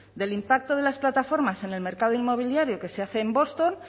del impacto de las plataformas en el mercado inmobiliario que se hace en boston